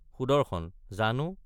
সুন্দৰ—জানো।